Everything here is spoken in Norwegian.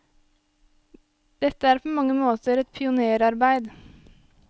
Dette er på mange måter et pionérarbeid.